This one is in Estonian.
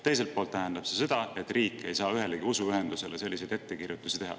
Teiselt poolt tähendab see seda, et riik ei saa ühelegi usuühendusele selliseid ettekirjutusi teha.